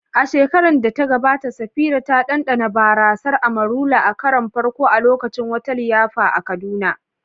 A shekarar da ta gabata, Safira ta ɗanɗana barasar "Amarula" a karon farko a lokacin wata liyafa a Kaduna.